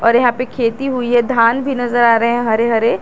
और यहां पे खेती हुई है धान भी नजर आ रहे हैं हरे हरे।